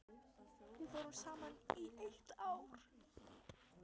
Við vorum saman í eitt ár.